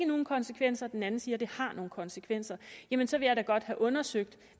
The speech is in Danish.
nogen konsekvenser og den anden siger at det har nogle konsekvenser jamen så vil jeg da godt have undersøgt